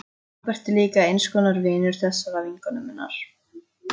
Róbert er líka eins konar vinur þessarar vinkonu minnar.